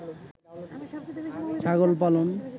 ছাগল পালন